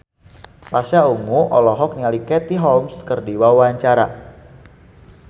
Pasha Ungu olohok ningali Katie Holmes keur diwawancara